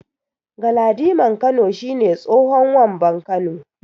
Galadiman Kano shi ne tsohon Wamban Kano.